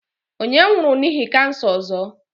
Onye nwuru n'ihi kansa ozo?